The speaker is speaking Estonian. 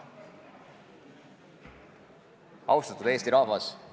Austatud Eesti rahvas!